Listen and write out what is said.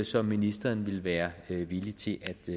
som ministeren ville være villig til